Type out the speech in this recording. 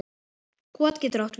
Kot getur átt við